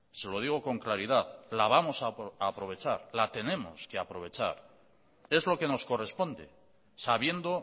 se lo digo con claridad la vamos a aprovechar la tenemos que aprovechar es lo que nos corresponde sabiendo